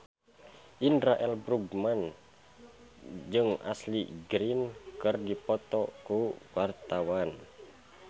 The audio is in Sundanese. Indra L. Bruggman jeung Ashley Greene keur dipoto ku wartawan